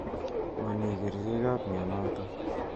Ma mi kerichot ap mianotok.